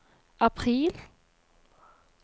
april